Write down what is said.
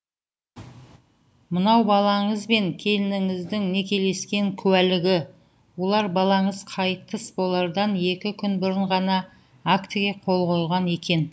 мынау балаңыз бен келініңіздің некелескен куәлігі олар балаңыз қайтыс болардан екі күн бұрын ғана актіге қол қойған екен